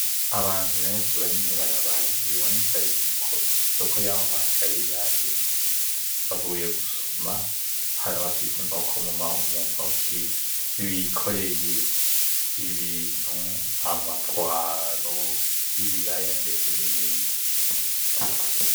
Abantu benshi bari mw'ibarabara ,biboneka yuko Isoko yaho hantu yaremye bavuye gusuma hari abafise Inkoko muntoke bikoreye Ibintu ama pwaro, Ibiraya ndetse n'ibindi.